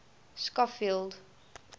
schofield